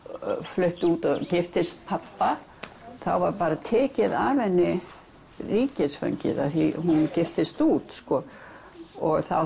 flutti út og giftist pabba það var bara tekið af henni ríkisfangið því hún giftist út sko og þá